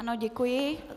Ano, děkuji.